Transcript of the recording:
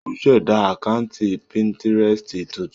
Ó ṣẹ̀dá àkáǹtì Pinterest tuntun.